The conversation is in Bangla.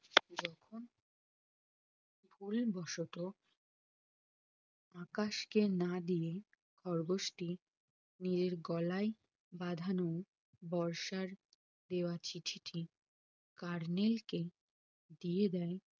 ভুল বসতো আকাশকে না দিয়ে খরগোশ টি নিজের গলায় বাঁধানো বর্ষার দেওয়া চিঠিটি colonel কে দিয়ে দেয়